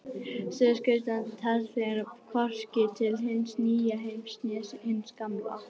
Suðurskautslandið telst því hvorki til hins nýja heims né hins gamla.